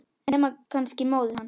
Nema kannski móðir hans.